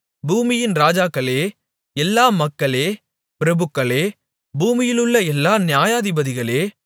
பூமியின் ராஜாக்களே எல்லா மக்களே பிரபுக்களே பூமியிலுள்ள எல்லா நியாயாதிபதிகளே